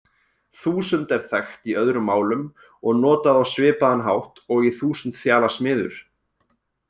Þúsund er þekkt í öðrum málum og notað á svipaðan hátt og í þúsundþjalasmiður.